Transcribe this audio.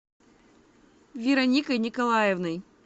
вероникой николаевной